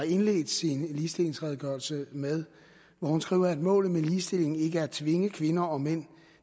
indledte sin ligestillingsredegørelse med hun skriver at målet med ligestilling ikke er at tvinge kvinder og mænd